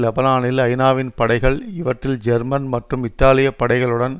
லெபனானில் ஐநாவின் படைகள் இவற்றில் ஜெர்மன் மற்றும் இத்தாலிய படைகளுடன்